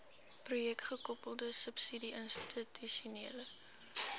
projekgekoppelde subsidie institusionele